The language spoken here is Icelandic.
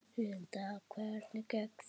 Linda: Hvernig gekk þér?